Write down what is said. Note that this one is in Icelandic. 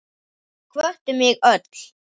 Þau hvöttu mig öll.